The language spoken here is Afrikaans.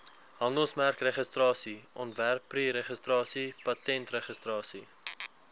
handelsmerkregistrasie ontwerpregistrasie patentregistrasie